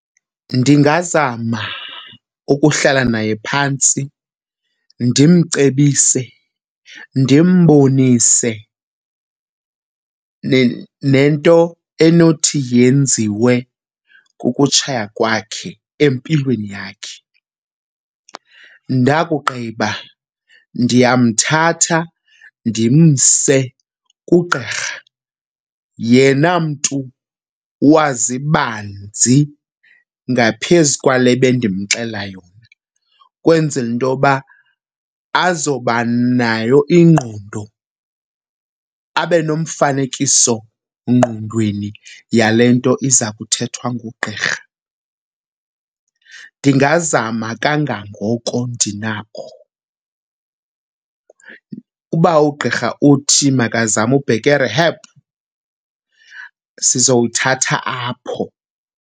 Ndingazama ukuhlala naye phantsi ndimcebise, ndimbonise nento enothi yenziwe kukutshaya kwakhe empilweni yakhe. Ndakugqiba ndiyamthatha ndimse kugqirha, yena mntu wazi banzi ngaphezu kwale bendinomxelela yona, ukwenzela into yoba azoba nayo ingqondo abe nomfanekisongqondweni yale nto iza kuthethwa ngugqirha. Ndingazama kangangoko ndinakho. Uba ugqirha uthi makazame ubheka e-rehab, sizawuthatha apho.